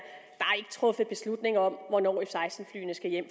truffet beslutning om hvornår f seksten flyene skal hjem